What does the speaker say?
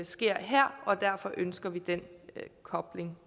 sker her og derfor ønsker vi den kobling